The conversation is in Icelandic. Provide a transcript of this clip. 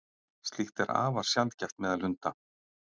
slíkt er afar sjaldgæft meðal hunda